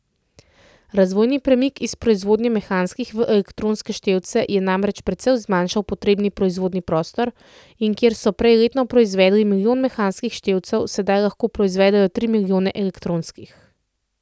Razvojni premik iz proizvodnje mehanskih v elektronske števce je namreč precej zmanjšal potrebni proizvodni prostor in kjer so prej letno proizvedli milijon mehanskih števcev, sedaj lahko proizvedejo tri milijone elektronskih.